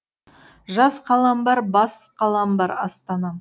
жас қалам бар бас қалам бар астанам